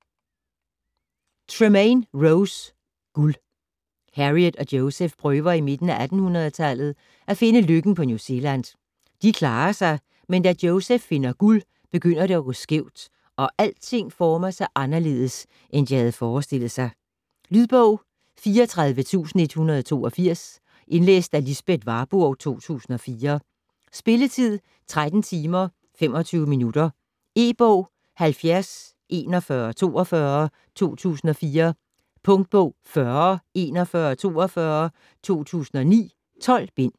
Tremain, Rose: Guld Harriet og Joseph prøver i midten af 1800-tallet at finde lykken på New Zealand. De klarer sig, men da Joseph finder guld, begynder det at gå skævt, og alting former sig anderledes, end de havde forestillet sig. Lydbog 34182 Indlæst af Lisbeth Warburg, 2004. Spilletid: 13 timer, 25 minutter. E-bog 704142 2004. Punktbog 404142 2009. 12 bind.